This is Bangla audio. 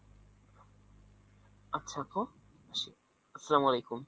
আচ্ছা আপু আসি। আসসালাম আলাইকুম।